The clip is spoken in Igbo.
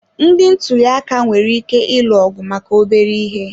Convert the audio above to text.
Ndị ntuli aka nwere ike ịlụ ọgụ maka obere ihe